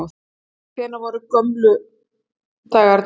Hvenær voru gömlu dagarnir?